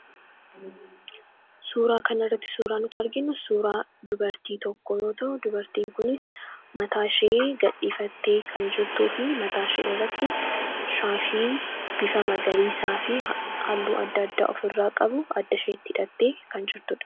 Suuraa kan irratti suuraa nuti arginnu suuraa dubartii tokkoo dubartiin kunis mataa ishee gadhiifattee kan jirtuu fi mataa ishee irratti shaashii bifa magariisaa fi halluu adda adda of irraa qabu adda isheetti hidhattee kan jirtuudha.